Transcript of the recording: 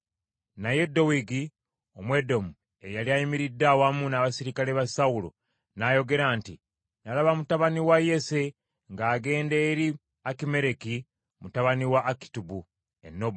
Naye Dowegi Omwedomu eyali ayimiridde awamu n’abaserikale ba Sawulo n’ayogera nti, “Nalaba mutabani wa Yese ng’agenda eri Akimereki mutabani wa Akitubu e Nobu.